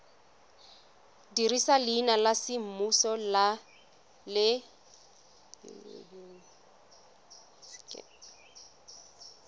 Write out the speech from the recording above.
dirisa leina la semmuso le